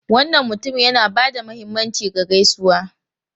Wannan mutumin yana ba da mahimmanci ga gaisuwa.